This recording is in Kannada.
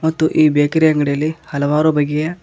ಮತ್ತು ಈ ಬೇಕರಿ ಅಂಗಡಿಯಲ್ಲಿ ಹಲವಾರು ಬಗೆಯ--